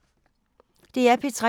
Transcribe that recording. DR P3